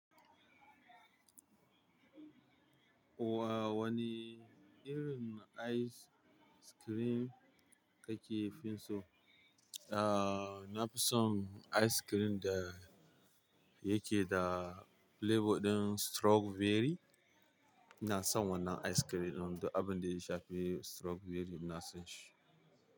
Wa-wane irin ice cream ka ke fin so? Nafi son ice cream da yake da flavour ɗin strawberry, ina son wannan ice cream ɗin duk abinda ya shafi strawberry ina son shi.